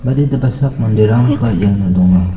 baditaba sak manderangba iano donga.